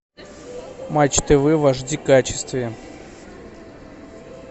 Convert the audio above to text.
матч тв в аш ди качестве